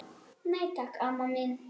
Nei, takk, amma mín.